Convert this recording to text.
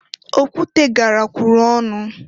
Okwute garakwuru ọnụ.